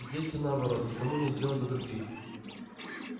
здесь все наоборот никому нет дела до других